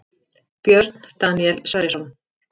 Björn Daníel Sverrisson